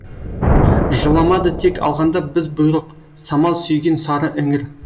жыламады тек алғанда біз бұйрық самал сүйген сары іңір